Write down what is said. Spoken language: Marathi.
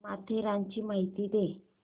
माथेरानची माहिती दे